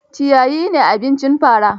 Ciyayi ne abincin fara.